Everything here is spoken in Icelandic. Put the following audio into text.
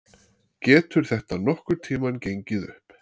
Getur þetta nokkurn tímann gengið upp?